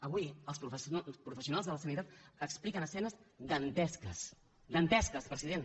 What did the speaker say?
avui els professionals de la sanitat expliquen escenes dantesques dantesques president